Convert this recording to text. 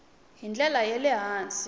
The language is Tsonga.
hi ndlela ya le hansi